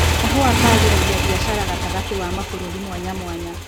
Kahũa kagĩragia mbiacara gatagatĩ wa mabũruri mwanyamwanya.